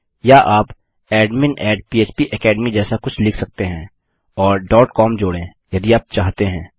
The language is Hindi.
या आप एडमिन php एकेडमी जैसा कुछ लिख सकते हैं और com जोड़ें यदि आप चाहते हैं